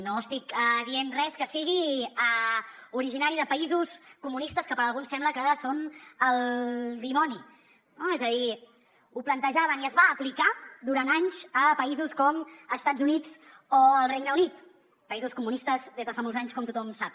no estic dient res que sigui originari de països comunistes que per alguns sembla que són el dimoni no és a dir ho plantejaven i es va aplicar durant anys a països com estats units o el regne unit països comunistes des de fa molts anys com tothom sap